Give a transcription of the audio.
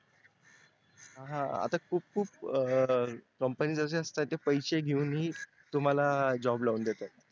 हा हा आता खूप खूप companies आशा असतात का त्या पैसे घेऊनही तुम्हाला job लावून देतात